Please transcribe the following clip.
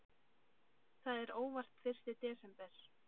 Það er óvart fyrsti desember.